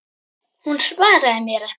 Hún svaraði mér ekki.